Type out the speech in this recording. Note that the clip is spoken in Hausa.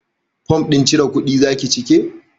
Fom ɗin cire kuɗi zaki cike?